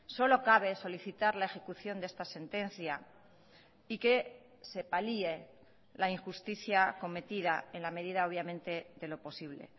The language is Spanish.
solo cabe solicitar la ejecución de esta sentencia y que se palie la injusticia cometida en la medida obviamente de lo posible